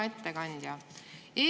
Hea ettekandja!